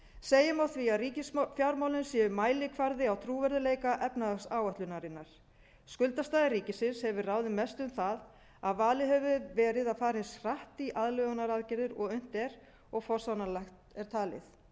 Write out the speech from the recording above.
segjum á því að ríkisfjármálin séu mælikvarði á trúverðugleika efnahagsáætlunarinnar skuldastaða ríkisins hefur ráðið mestu um það að valið hefur verið að fara eins hratt í aðlögunaraðgerðir og unnt er og forsvaranlegt er talið